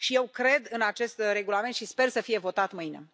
Eu cred în acest regulament și sper să fie votat mâine.